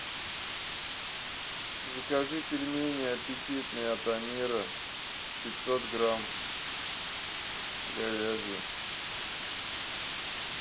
закажи пельмени аппетитные от амира пятьсот грамм говяжьи